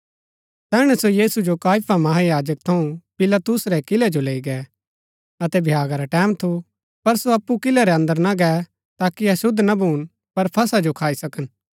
तैहणै सो यीशु जो काइफा महायाजक थऊँ पिलातुस रै किलै जो लैई गै अतै भ्यागा रा टैमं थू पर सो अप्पु किलै रै अन्दर ना गै ताकि अशुद्ध ना भून पर फसह जो खाई सकन